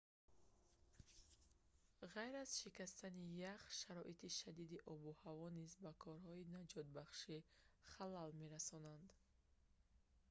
ғайр аз шикастани ях шароити шадиди обу ҳаво низ ба корҳои наҷотбахшӣ халал мерасонанд